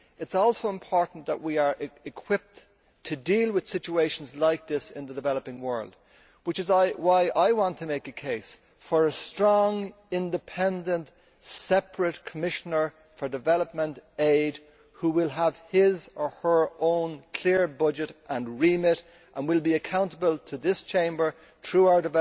it is also important that we are equipped to deal with situations like this in the developing world, which is why I want to make a case for a strong, independent, separate Commissioner for development aid who will have his or her own clear budget and remit and who will be accountable to this Chamber through our